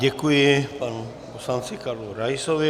Děkuji panu poslanci Karlu Raisovi.